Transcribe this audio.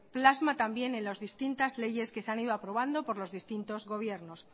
plasma también en las distintas leyes que se han ido aprobando por los distintos gobiernos